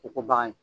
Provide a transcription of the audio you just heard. K'u ko bagan ye